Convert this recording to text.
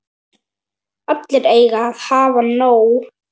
Allir eiga að hafa nóg.